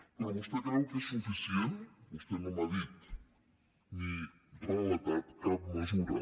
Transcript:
però vostè creu que és suficient vostè no m’ha dit ni relatat cap mesura